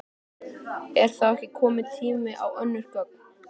Heimir: Er þá ekki kominn tími á önnur gögn?